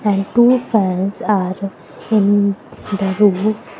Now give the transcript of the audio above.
And two fans are in the roof.